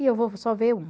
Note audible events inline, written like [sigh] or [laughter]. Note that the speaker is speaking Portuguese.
E eu vou [unintelligible] só ver um.